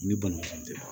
Ni banabaatɔ